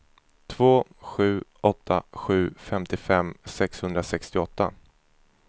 två sju åtta sju femtiofem sexhundrasextioåtta